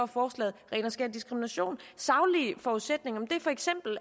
forslaget ren og skær diskrimination saglige forudsætninger er